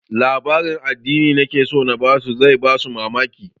Labarin addinin da nake so na ba su zai ba su mamaki